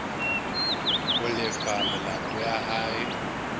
ho lefa melato ya hae